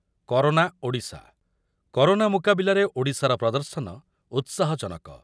Corona Odisha, corona ମୁକାବିଲାରେ ଓଡିଶାର ପ୍ରଦର୍ଶନ ଉତ୍ସାହଜନକ।